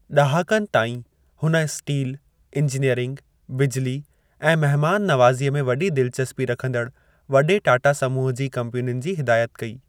ॾहाकनि ताईं, हुन steel, engineering, बिजली, ऐं महिमान नवाज़ीअ में वॾी दिलचस्पी रखंदड़ वॾे टाटा समूह जी कंपनियुनि जी हिदायत कई।